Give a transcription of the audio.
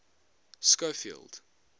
schofield